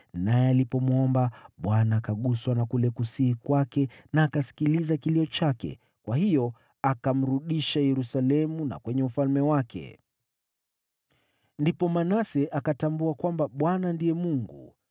Naye alipomwomba, Bwana akaguswa na kule kusihi kwake na akasikiliza kilio chake, kwa hiyo akamrudisha Yerusalemu na kwenye ufalme wake. Ndipo Manase akatambua kwamba Bwana ndiye Mungu.